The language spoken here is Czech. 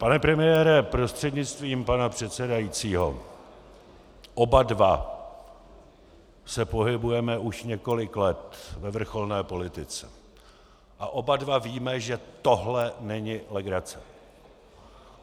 Pane premiére prostřednictvím pana předsedajícího, oba dva se pohybujeme už několik let ve vrcholné politice a oba dva víme, že tohle není legrace.